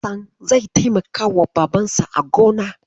Hassan zai taimakawa Babansa a gona